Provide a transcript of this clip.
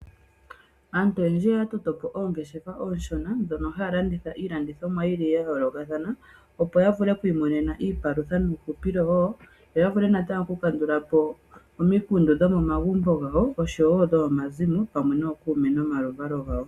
Aantu oyendji oya totopo oongeshefa oonshona ndhono haya landitha iilandithomwa yili ya yoolokathana opo ya vule omu i monena iipalutha nuuhupilo wo. Yo ya vule natango oku kandulapo omikundu dhomo magumbo gawo oshowo dhomo mazimo pamwe nookume nomaluvalo gawo.